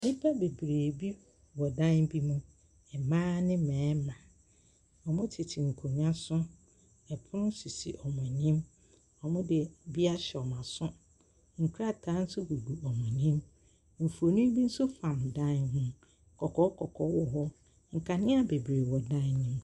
Nnipa bebree wɔ dan bi ho. Mmaa ne mmarima. Wɔtete nkonnwa so. Pono sisi wɔn anim. Wɔde adeɛ ahyɛ wɔn aso. Nkrataa nso gugu wɔn annim. Mfoni bi nso fam dan ho. Kɔkɔɔ kɔkɔɔ wɔ hɔ. Nkanea bebree wɔ dan no mu.